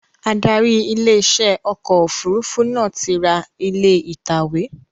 Adarí ilé iṣẹ́ ọkọ̀ òfurufú náà ti ra ilé ìtàwé